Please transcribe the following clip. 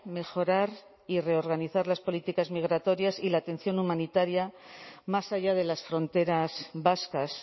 mejorar y reorganizar las políticas migratorias y la atención humanitaria más allá de las fronteras vascas